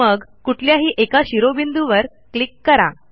मग कुठल्याही एका शिरोबिंदूवर क्लिक करा